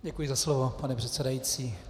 Děkuji za slovo, pane předsedající.